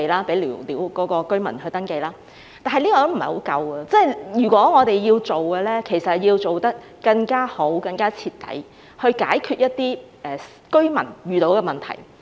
不過，這是不太足夠的，如果我們要做，便要做得更加好、更加徹底，以解決居民遇到的問題。